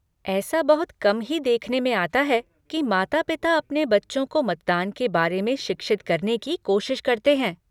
ऐसा बहुत कम ही देखने में आता है कि माता पिता अपने बच्चों को मतदान के बारे में शिक्षित करने की कोशिश करते हैं।